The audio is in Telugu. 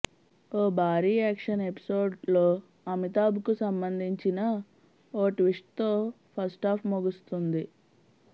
ఓ భారీ యాక్షన్ ఎపిసోడ్లో అమితాబ్కు సంబంధించిన ఓ ట్విస్ట్తో ఫస్టాఫ్ ముగుస్తుంది